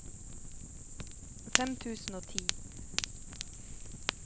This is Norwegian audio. fem tusen og ti